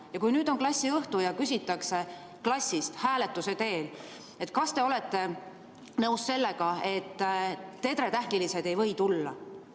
Ja kui on klassiõhtu, siis küsitakse klassis hääletuse teel, kas ollakse nõus sellega, et tedretähnilised ei või sinna tulla.